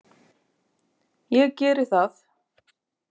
Ég geri það.